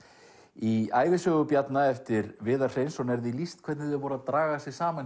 í ævisögu Bjarna eftir Viðar Hreinsson er því lýst hvernig þau voru að draga sig saman